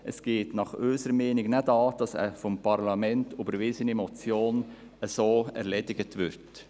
Es geht unserer Meinung nach nicht an, dass eine vom Parlament überwiesene Motion so erledigt wird.